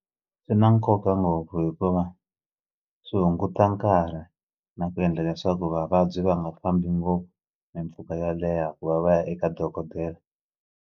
Swi na nkoka ngopfu hikuva swi hunguta nkarhi na ku endla leswaku vavabyi va nga fambi ngopfu mimpfhuka yo leha ku va va ya eka dokodela.